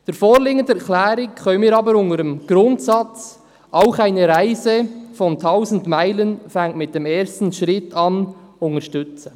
Die vorliegende Erklärung können wir aber im Sinne des Grundsatzes, «Auch eine Reise von tausend Meilen fängt mit dem ersten Schritt an», unterstützen.